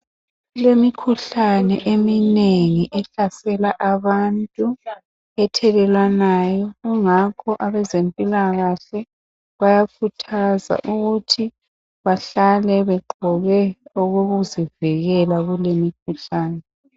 Kulemikhuhlane eminengi ehlasela abantu, ethelelwanayo ingakho abezempilakahle bayakhuthaza ukuthi bahlale begqoke okokuzivikela kule mikhuhlane.